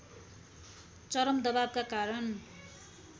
चरम दवावका कारण